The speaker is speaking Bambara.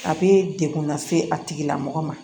A bɛ dekun lase a tigi lamɔgɔ ma